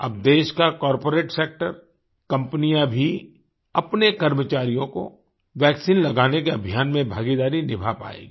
अब देश का कॉर्पोरेट सेक्टर कम्पनियाँ भी अपने कर्मचारियों को वैक्सीन लगाने के अभियान में भागीदारी निभा पायेगी